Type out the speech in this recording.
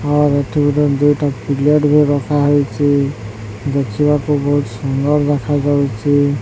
ଆଉ ଏଠି ଗୋଟେ ଦୁଇଟା କୁଲର ବି ରଖାହେଇଚି ଦେଖିବାକୁ ବହୁତ ସୁନ୍ଦର ଦେଖାଯାଉଚି ।